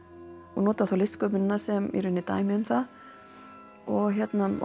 og nota þá listsköpunina sem dæmi um það og